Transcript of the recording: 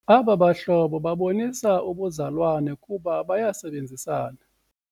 Aba bahlobo babonisa ubuzalwane kuba bayasebenzisana.